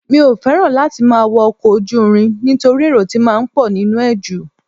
Mi ò fẹ́ràn láti máa wọ́ ọkọ̀ ojú irin nítorí èrò ti máa ń pọ nínú ẹ̀ ju